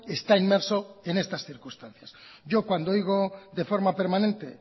está inmerso en estas circunstancias yo cuando oigo de forma permanente